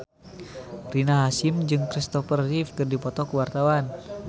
Rina Hasyim jeung Kristopher Reeve keur dipoto ku wartawan